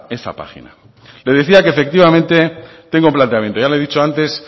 esa página le decía que efectivamente tengo planteamiento ya le he dicho antes